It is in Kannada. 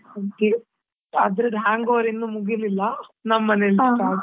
ಹಾಗೆ ಅದ್ರದ್ hang over ಇನ್ನು ಮುಗಿಲಿಲ್ಲಾ ನಮ್ಮನೇಲಿ start .